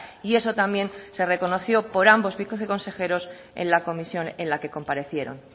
y eso también se reconoció por ambos viceconsejeros en la comisión en la que comparecieron